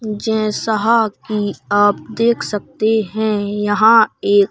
जैसा कि आप देख सकते हैं यहां एक--